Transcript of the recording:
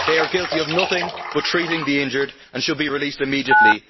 They are guilty of nothing but treating the injured and should be released immediately.